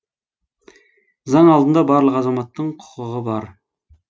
заң алдында барлық азаматтың құқығы бар